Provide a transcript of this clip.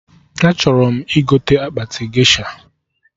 A chọrọ m.igite akpati gesha